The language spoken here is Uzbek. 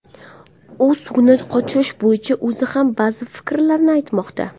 U suvni qochirish bo‘yicha o‘zi ham ba’zi fikrlarni aytmoqda.